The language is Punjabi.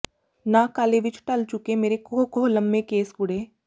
ਨਾਗ ਕਾਲੇ ਵਿੱਚ ਢਲ ਚੁੱਕੇ ਮੇਰੇ ਕੋਹ ਕੋਹ ਲੰਮੇ ਕੇਸ ਕੁੜੇ